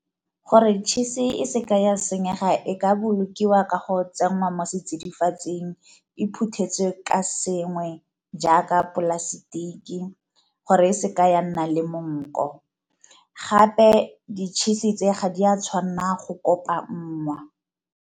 Gore tšhisi e seke ya senyega e ka bolokiwa ka go tsenngwa mo setsidifatsing e iphuthetse ka sengwe jaaka dipolasetiki, gore e seke ya nna le monko. Gape ditšhisi tse ga di a tshwanna go kopangwa.